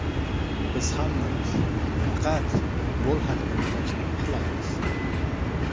Biz hammamiz faqat futbol haqida o‘ylashni xohlaymiz”.